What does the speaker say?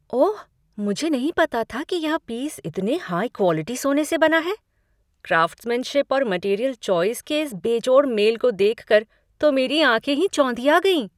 ओह, मुझे नहीं पता था कि यह पीस इतने हाई क्वालिटी सोने से बना है। क्राफ्ट्समैनशिप और मटीरियल चॉइस के इस बेजोड़ मेल को देखकर तो मेरी आँखें ही चौंधिया गईं।